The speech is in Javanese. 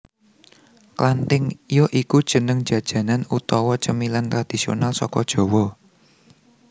Klantink ya iku jeneng jajanan utawa cemilan tradisional saka Jawa